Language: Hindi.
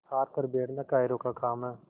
हार कर बैठना कायरों का काम है